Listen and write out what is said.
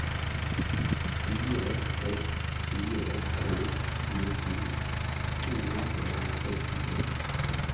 fire seks fire tre tjueto to hundre og sekstitre